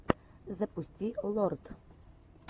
запусти лорд